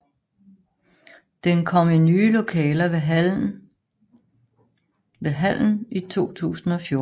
Den kom i nye lokaler ved hallen i 2014